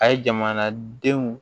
A ye jamanadenw